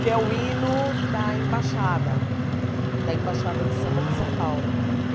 Que é o hino da embaixada, da embaixada do samba de São Paulo.